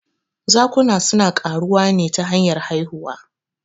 Zakuna suna ƙaruwa ne ta hanyar haihuwa.